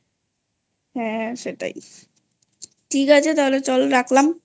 হ্যাঁ সেটাই ঠিক আছে চল তাহলে রাখলামI